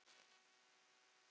Ég geri allt annað.